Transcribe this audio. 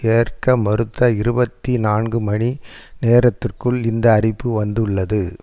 ஏற்க மறுத்த இருபத்தி நான்கு மணி நேரத்திற்குள் இந்த அறிப்பு வந்துள்ளது